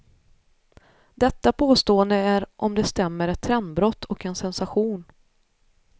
Detta påstående är om det stämmer ett trendbrott och en sensation.